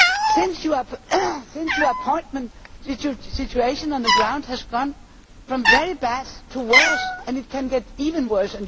Since you have been appointed the situation on the ground has gone from very bad to worse, and it can get even worse.